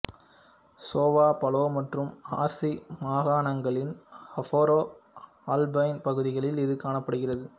சோவா பலே மற்றும் ஆர்சி மாகாணங்களின் ஆஃப்ரோ ஆல்பைன் பகுதிகளில் இது காணப்படுகிறது